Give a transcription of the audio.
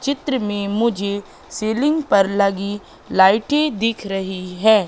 चित्र में मुझे सीलिंग पर लगी लाइटे दिख रही है।